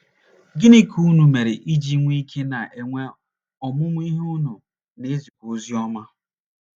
Gịnị ka unu mere iji nwee ike ịna - enwe ọmụmụ ihe unu, na - ezikwa oziọma?